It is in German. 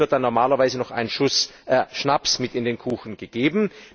Bei uns wird dann normalerweise noch ein Schuss Schnaps mit in den Kuchen gegeben.